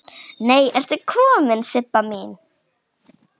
Nei ertu komin Sibba mín!